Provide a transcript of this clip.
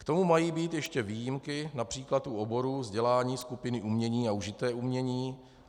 K tomu mají být ještě výjimky, například u oborů vzdělání skupiny umění a užité umění.